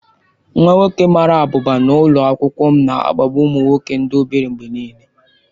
Nwa nwoke mara abụba nọ n'ụlọ akwụkwọ m na-akpagbu ụmụ nwoke ndị obere mgbe niile.